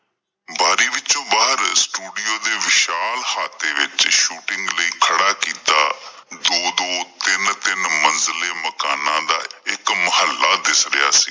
ਬਾਰੀ ਵਿੱਚੋਂ ਬਾਹਰ ਸਟੂਡੀਓ ਦੇ ਵਿਸ਼ਾਲ ਅਹਾਤੇ ਵਿੱਚ ਸ਼ੂਟਿੰਗ ਲਈ ਖੜਾ ਕੀਤਾ ਦੋ ਦੋ ਤਿੰਨ ਤਿੰਨ ਮੰਜੀਲੇ ਮਕਾਨਾਂ ਦਾ ਇੱਕ ਮੋਹਲਾ ਦਿਸ ਰਿਹਾ ਸੀ।